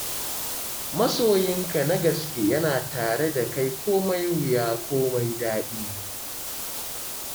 Masoyinka na gaske yana tare da kai komai wuya komai daɗi.